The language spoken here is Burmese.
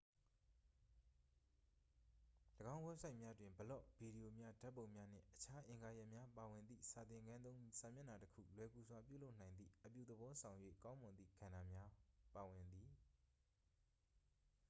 ၎င်း ဝက်ဆိုက်များတွင် ဘလော့ ဗီဒီရိုများ ဓာတ်ပုံများ နှင့် အခြားအင်္ဂါရပ်များ ပါဝင်သည့် စာသင်ခန်းသုံး စာမျက်နှာတစ်ခု လွယ်ကူစွာ ပြုလုပ်နိုင်သည့် အပြုသဘောဆောင်၍ ကောင်းမွန်သည့် ကဏ္ဍများ ပါဝင်သည်